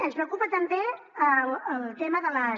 ens preocupa també el tema de les